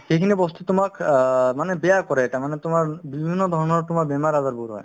সেইখিনি বস্তুই তোমাক অ মানে বেয়া কৰাই তাৰমানে তোমাৰ বিভিন্ন ধৰণৰ তোমাৰ বেমাৰ-আজাৰবোৰ হয়